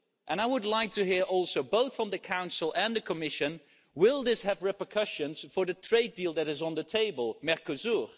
And I would also like to hear, both from the Council and the Commission will this have repercussions for the trade deal that is on the table Mercosur?